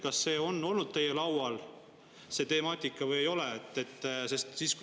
Kas see temaatika on olnud teil arutelu alla või ei ole?